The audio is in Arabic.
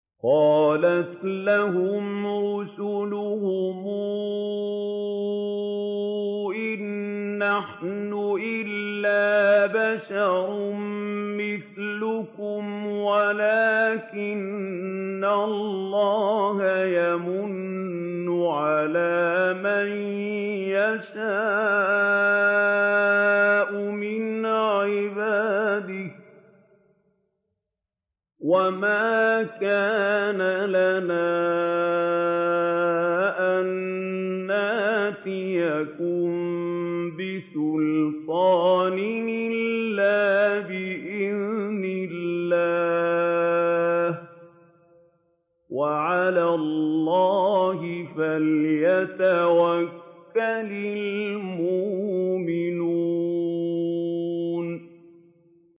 قَالَتْ لَهُمْ رُسُلُهُمْ إِن نَّحْنُ إِلَّا بَشَرٌ مِّثْلُكُمْ وَلَٰكِنَّ اللَّهَ يَمُنُّ عَلَىٰ مَن يَشَاءُ مِنْ عِبَادِهِ ۖ وَمَا كَانَ لَنَا أَن نَّأْتِيَكُم بِسُلْطَانٍ إِلَّا بِإِذْنِ اللَّهِ ۚ وَعَلَى اللَّهِ فَلْيَتَوَكَّلِ الْمُؤْمِنُونَ